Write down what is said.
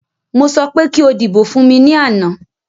Mo sọ pé kí o dìbò fún mí ní àná